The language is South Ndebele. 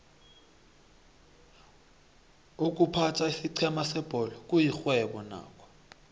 iykuphatha isiqhema sebholo kuyixhwebo nakho